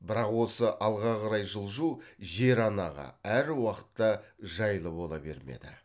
бірақ осы алға қарай жылжу жер анаға әр уақытта жайлы бола бермеді